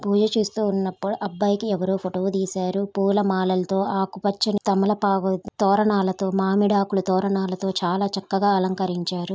పూజ చూస్తూ ఉన్నప్పుడు అబ్బాయికి ఎవరో ఫోటో తీసారు. పూలమాలలతో ఆకు పచ్చని తమలపాకు తోరణాలతో మామిడి ఆకు తోరణాలతో చాలా చక్కగా అలంకరించారు.